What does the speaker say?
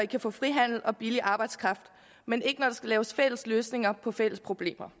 kan få frihandel og billig arbejdskraft men ikke når der skal laves fælles løsninger på fælles problemer